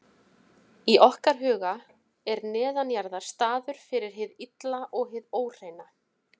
Í okkar huga er neðanjarðar staður fyrir hið illa og hið óhreina.